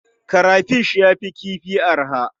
Karafish ya fi kifi arha.